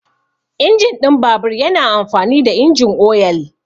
Injin ɗin babur yana amfani da injin oyal.